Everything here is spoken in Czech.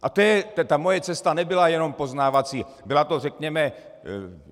A ta moje cesta nebyla jenom poznávací, byla to, řekněme...